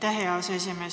Aitäh, hea aseesimees!